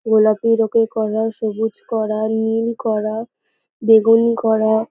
গোলাপির রুপোর কড়া সবুজ কড়া নীল কড়া বেগুনি কড়া --